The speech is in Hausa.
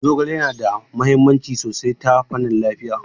Zogale yana da mahimmanci sosai ta fannin lafiya.